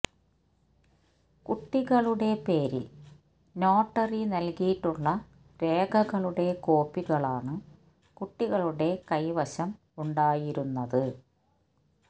കുട്ടികളുടെ പേരില് നോട്ടറി നല്കിയിട്ടുള്ള രേഖകളുടെ കോപ്പികളാണ് കുട്ടികളുടെ കൈവശം ഉണ്ടായിരുന്നത്